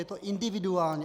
Je to individuální.